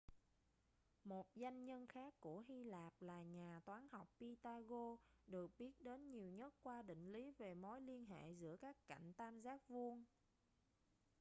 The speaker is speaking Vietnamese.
một danh nhân khác của hy lạp là nhà toán học pythagoras được biết đến nhiều nhất qua định lý về mối liên hệ giữa các cạnh tam giác vuông